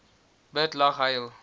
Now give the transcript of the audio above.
bid lag huil